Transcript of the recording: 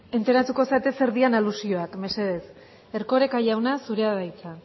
enteratuko zarete zer diren aluzioak mesedez erkoreka jauna zurea da hitza